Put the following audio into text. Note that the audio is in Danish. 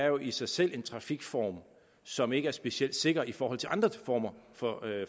jo i sig selv er en trafikform som ikke er specielt sikker i forhold til andre former for